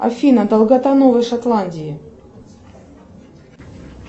афина долгота новой шотландии